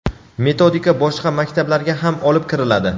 metodika boshqa maktablarga ham olib kiriladi.